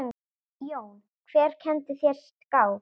Jón: Hver kenndi þér skák?